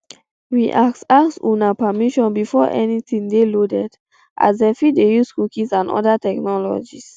we ask ask for una permission before anytin dey loaded as dem fit dey use cookies and oda technologies